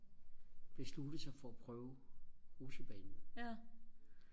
besluttet sig for og prøve rutsjebanen